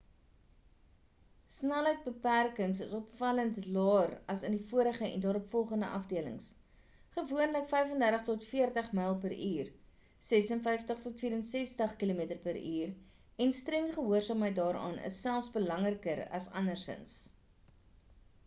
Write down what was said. snelheidsbeperkings is opvallend laer as in vorige en daaropvolgende afdelings – gewoonlik35-40mph 56-64 km/h - en streng gehoorsaamheid daaraan is selfs belangriker as andersins